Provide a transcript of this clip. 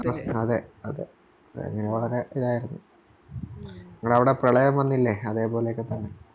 അതെ അതെ വളരെ ഇതായിരുന്നു നമ്മളെ അവിടെ പ്രളയം വന്നില്ലേ അതെ പോലെയൊക്കെ തന്നെ